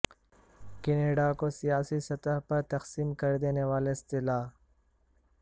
Canada کو سیاسی سطح پر تقسیم کر دینے والی اصطلاح